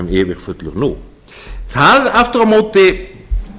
yfirfullur nú það aftur á móti